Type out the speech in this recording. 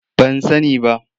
Ban sani ba.